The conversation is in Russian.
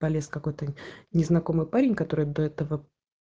полез какой-то незнакомый парень который до этого